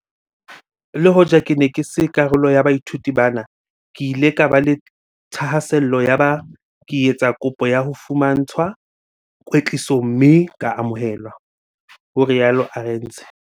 "Le hoja ke ne ke se karolo ya baithuti bana, ke ile ka ba le thahasello yaba ke etsa kopo ya ho fumantshwa kwetliso mme ka amohelwa," ho rialo Arendse.